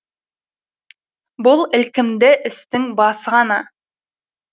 бұл ілкімді істің басы ғана